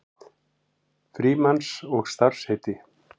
Frímanns og starfsheiti.